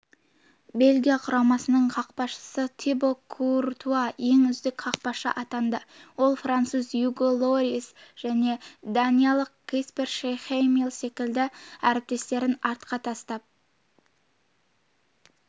бельгия құрамасының қақпашысы тибо куртуа ең үздік қақпашы атанды ол француз уго льорис және даниялық каспер шмейхель секілді әріптестерін артқа тастап